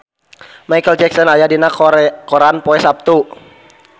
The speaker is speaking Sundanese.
Micheal Jackson aya dina koran poe Saptu